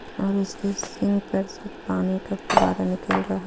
ओर इसके सिंग पर से पानी का फवारा निकल रहा है.